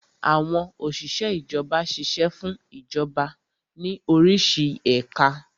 Àwọn Òsìsẹ́ Ìjọba ṣiṣẹ́ fún Ìjọba ní orísi ẹ̀ka